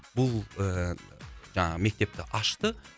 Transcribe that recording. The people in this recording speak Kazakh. бұл ыыы жаңағы мектепті ашты